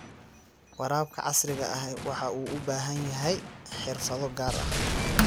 Waraabka casriga ahi waxa uu u baahan yahay xirfado gaar ah.